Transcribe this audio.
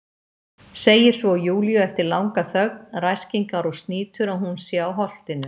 Segir svo Júlíu eftir langa þögn, ræskingar og snýtur, að hún sé á Holtinu.